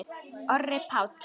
Orri Páll.